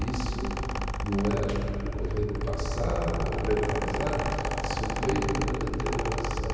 Isso não é o governo passado ou retrasado, isso veio numa deterioração.